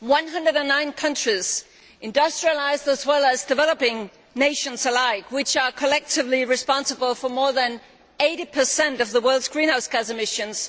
One hundred and nine countries industrialised and developing nations alike which are collectively responsible for more than 80 of the world's greenhouse gas emissions